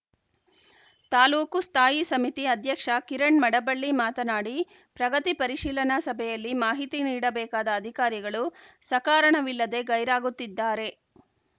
ತಾಲೂಕು ಸ್ಥಾಯಿ ಸಮಿತಿ ಅಧ್ಯಕ್ಷ ಕಿರಣ್‌ ಮಡಬಳ್ಳಿ ಮಾತನಾಡಿ ಪ್ರಗತಿ ಪರಿಶೀಲನಾ ಸಭೆಯಲ್ಲಿ ಮಾಹಿತಿ ನೀಡಬೇಕಾದ ಅದಿಕಾರಿಗಳು ಸಕಾರಣವಿಲ್ಲದೆ ಗೈರಾಗುತ್ತಿದ್ದಾರೆ